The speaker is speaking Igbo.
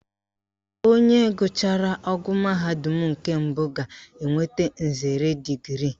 Onye gụchara ogo mahadum nke mbụ ga-enweta nzere digrii